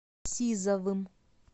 сизовым